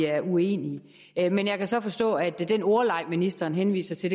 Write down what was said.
er uenige men jeg kan så forstå at den ordleg ministeren henviser til